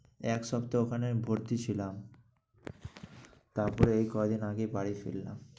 এক সপ্তাহ ওখানে ভর্তি ছিলাম। তারপরে এই কয়দিন আগেই বাড়ি ফিরলাম।